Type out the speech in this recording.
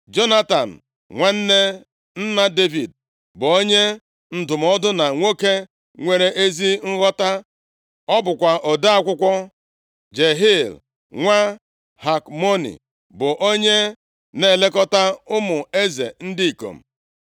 Jonatan nwanne nna Devid bụ onye ndụmọdụ na nwoke nwere ezi nghọta. Ọ bụkwa ode akwụkwọ. Jehiel nwa Hakmoni bụ onye na-elekọta ụmụ eze ndị ikom.